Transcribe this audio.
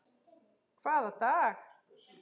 Hvaða dag?